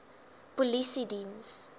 polisiediens